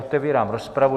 Otevírám rozpravu.